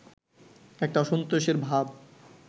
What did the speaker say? একটা অসন্তোষের ভাব